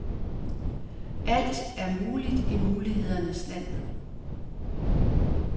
Alt er muligt i mulighedernes land.